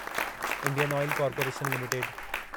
Indian Oil Corporation limited